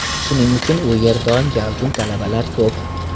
Shuning uchun u yer doim gavjum, talabalar ko‘p.